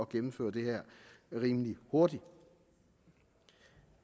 gennemføre det her rimelig hurtigt